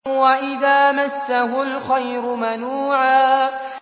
وَإِذَا مَسَّهُ الْخَيْرُ مَنُوعًا